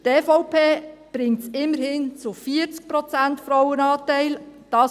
Die EVP bringt es immerhin auf einen Frauenanteil von 40 Prozent.